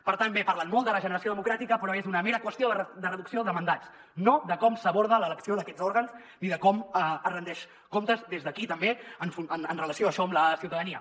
per tant bé parlen molt de regeneració democràtica però és una mera qüestió de reducció de mandats no de com s’aborda l’elecció d’aquests òrgans ni de com es rendeixen comptes des d’aquí també amb relació a això a la ciutadania